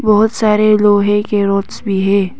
बहुत सारे लोहे के रोड्स भी है।